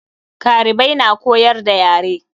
Karibai na koyar da yare.